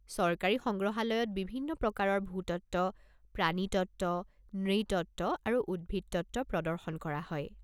চৰকাৰী সংগ্ৰহালয়ত বিভিন্ন প্ৰকাৰৰ ভূতত্ত্ব, প্ৰাণীতত্ত্ব, নৃতত্ত্ব আৰু উদ্ভিদতত্ত্ব প্ৰদৰ্শন কৰা হয়।